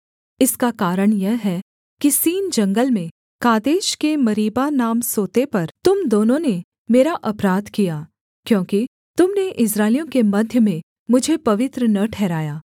इसका कारण यह है कि सीन जंगल में कादेश के मरीबा नाम सोते पर तुम दोनों ने मेरा अपराध किया क्योंकि तुम ने इस्राएलियों के मध्य में मुझे पवित्र न ठहराया